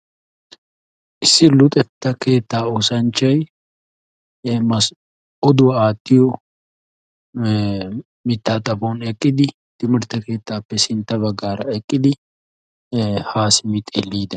Issi keetta oossanchchay oduwa aattiyo miitta xaphphon eqqiddi dumma dumma oduwa aattosonna.